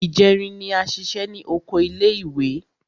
Ìjẹrin ni a ṣiṣẹ́ ní oko ilé ìwé.